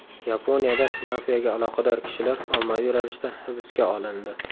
Yaponiyada mafiyaga aloqador kishilar ommaviy ravishda hibsga olindi.